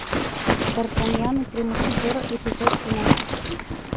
дартаньян и три мушкетера эпизод тринадцать